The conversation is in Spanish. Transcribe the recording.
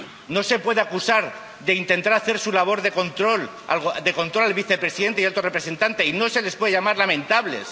No se les puede acusar de intentar hacer su labor de control al vicepresidente y alto representante y no se les puede llamar lamentables.